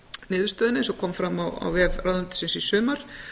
niðurstöðunni eins og kom fram á vef ráðuneytisins í sumar